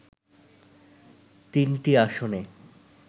তিনটি আসনে